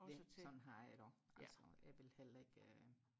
ja sådan har jeg det også altså jeg vil heller ikke